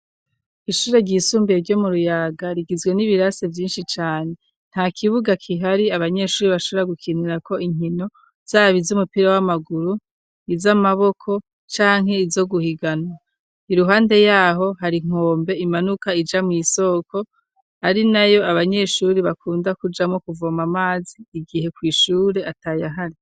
Ishure ryisumbuye ryo mu ruyaga rigizwe n'ibirase vyinshi cane, nta kibuga kihari abanyeshuri bashobora gukinira ko inkino zaba izu umupira w'amaguru, iz'amaboko canke izo guhiganwa, iruhande yaho hari inkombe imanuka ija mw'isoko ari nayo abanyeshuri bakunda kujamwo kuvomamwo amazi igihe kw'ishure atayo ahari.